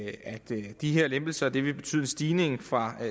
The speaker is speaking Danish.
de her lempelser vil betyde en stigning fra